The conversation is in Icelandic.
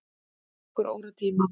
Það tekur þá óratíma.